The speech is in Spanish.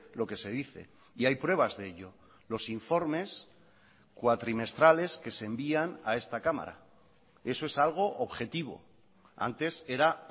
lo que se dice y hay pruebas de ello los informes cuatrimestrales que se envían a esta cámara eso es algo objetivo antes era